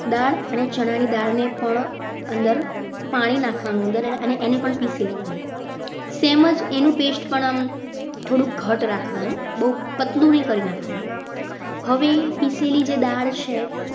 દાળ અને ચણાની દાળને પણ અંદર પાણી નાખવાનું અંદર અને એને પણ પીસી લેવાનું તેમજ એનું pest પણ થોડું ઘટ્ટ રાખવાનું બહુ પતલુ નહીં કરી નાખવાનું હવે પીસેલી જે દાળ છે.